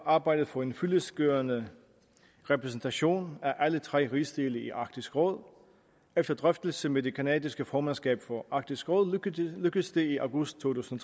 arbejdet for en fyldestgørende repræsentation af alle tre rigsdele i arktisk råd og efter drøftelse med det canadiske formandskab for arktisk råd lykkedes det i august to tusind